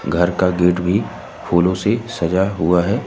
घर का गेट भी फूलों से सजा हुआ है।